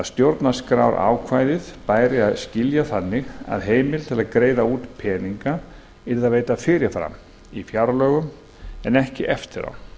stjórnarskrárákvæðið bæri að skilja þannig að heimild til að greiða út peninga yrði að veita fyrir fram í fjárlögum en ekki eftir á